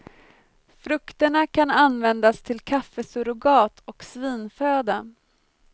Frukterna kan användas till kaffesurrogat och svinföda.